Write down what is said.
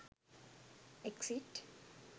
exit